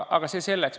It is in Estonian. Aga see selleks.